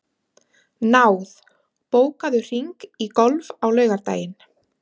Náð, bókaðu hring í golf á laugardaginn.